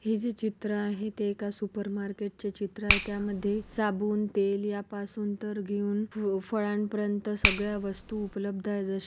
हे जे चित्र आहे ते एका सुपर मार्केट चे चित्र आहे त्यामध्ये साबुन तेल या तर घेऊन फ-फळापर्यंत सगळ्या वस्तु उपलब्ध आहे जसी--